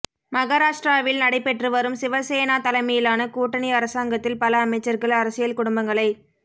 மகாராஷ்டிராவில் நடைபெற்று வரும் சிவசேனா தலைமையிலான கூட்டணி அரசாங்கத்தில் பல அமைச்சர்கள் அரசியல் குடும்பங்களைச்